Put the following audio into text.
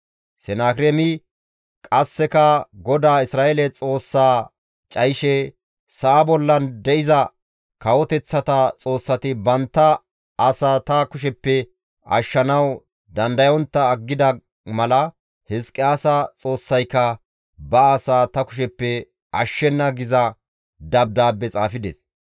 Sanaakireemi qasseka GODAA Isra7eele Xoossaa cayishe, «Sa7a bollan de7iza kawoteththata xoossati bantta asaa ta kusheppe ashshanawu dandayontta aggida mala Hizqiyaasa Xoossayka ba asaa ta kusheppe ashshenna» giza dabdaabbe xaafides.